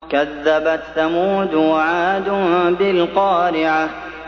كَذَّبَتْ ثَمُودُ وَعَادٌ بِالْقَارِعَةِ